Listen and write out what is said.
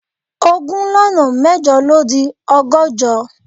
Ogún lọ́nà mẹ́jọ ló di ọgọ́jọ